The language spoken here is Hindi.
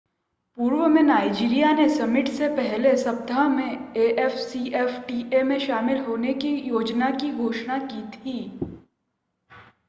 पूर्व में नाइज़ीरिया ने समिट से पहले सप्ताह में afcfta में शामिल होने की योजना की घोषणा की थी